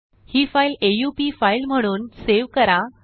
हि फाईल आ उ पी फाईल म्हणून सेव करा